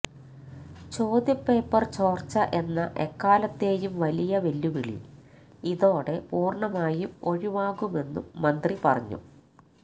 ചോദ്യപേപ്പര് ചോര്ച്ച എന്ന എക്കാലത്തെയും വലിയ വെല്ലുവിളി ഇതോടെ പൂര്ണമായും ഒഴിവാകുമെന്നും മന്ത്രി പറഞ്ഞു